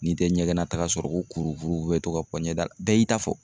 N'i tɛ ɲɛgɛnnataga sɔrɔ ko kurukuru bɛ to ka bɔ ɲɛda la bɛɛ y'i ta fɔ.